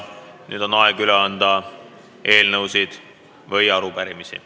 Nüüd on aeg üle anda eelnõusid ja arupärimisi.